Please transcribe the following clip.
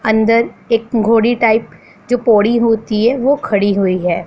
अंदर एक घोड़ी टाइप जो पौड़ी होती है वो खड़ी हुई है।